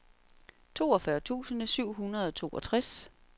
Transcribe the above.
toogfyrre tusind syv hundrede og toogfirs